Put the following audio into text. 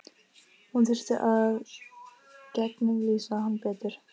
Hún þurfi að gegnumlýsa hann betur.